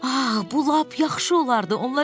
Aha, bu lap yaxşı olardı.